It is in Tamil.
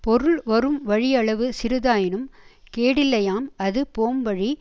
பொருள் வரும்வழியளவு சிறிதாயினும் கேடில்லையாம் அது போம்வழி